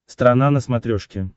страна на смотрешке